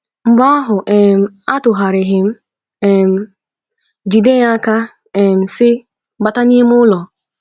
Mgbe ahụ, um atụgharịrị um m, jide ya aka, um sị, “Bata n’ime ụlọ! ”